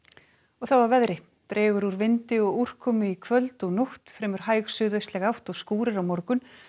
þá að veðri dregur úr vindi og úrkomu í kvöld og nótt fremur hæg átt og skúrir á morgun